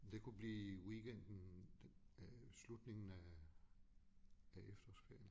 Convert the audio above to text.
Det kunne blive weekenden øh slutningen af af efterårsferien